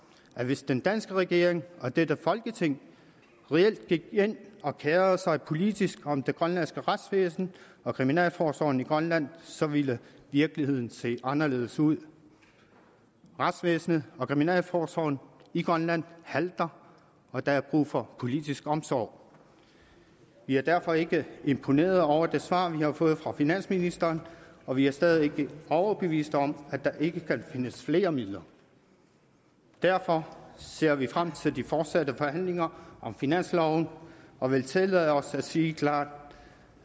at hvis den danske regering og dette folketing reelt gik ind og kerede sig politisk om det grønlandske retsvæsen og kriminalforsorgen i grønland så ville virkeligheden se anderledes ud retsvæsenet og kriminalforsorgen i grønland halter og der er brug for politisk omsorg vi er derfor ikke imponerede over det svar vi har fået fra finansministeren og vi er stadig ikke overbeviste om at der ikke kan findes flere midler derfor ser vi frem til de fortsatte forhandlinger om finansloven og vil tillade os at sige klart